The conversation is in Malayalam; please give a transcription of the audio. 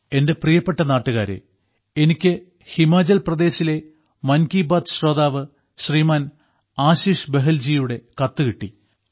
എന്റെ പ്രിയപ്പെട്ട നാട്ടുകാരേ എനിക്ക് ഹിമാചൽ പ്രദേശിലെ മൻ കീ ബാത്ത് ശ്രോതാവ് ശ്രീമാൻ ആശിഷ് ബഹൽജീയുടെ കത്ത് കിട്ടി